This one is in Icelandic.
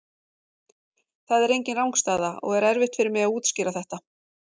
Það er engin rangstaða og er erfitt fyrir mig að útskýra þetta.